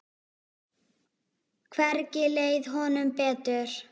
Hvergi leið honum betur.